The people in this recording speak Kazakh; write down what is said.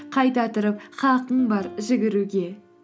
қайта тұрып қақың бар жүгіруге